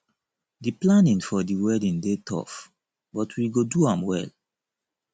the planning for the wedding dey tough but we go do am well